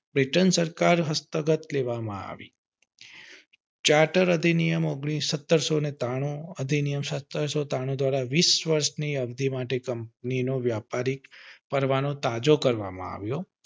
pattern સરકાર દ્વારા જ હસ્તક આપવામાં આવી ચાર્ટર્ડ નિયમો સત્તરસો ત્રાણું દ્વારા વીસ વર્ષ ની અરજી માટે કંપની નો વ્યાપારિક પરવાનો તાજો કરવામાં આવ્યો